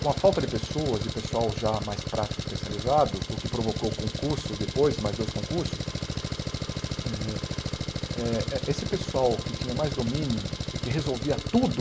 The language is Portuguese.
Com a falta de pessoas e pessoal já mais prático, especializado, o que provocou concursos depois, mais dois concursos, eh eh eh esse pessoal que tinha mais domínio e que resolvia tudo,